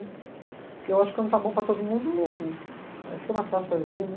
Porque eu acho que quando está bom para todo mundo, eh, fica mais fácil para viver, né?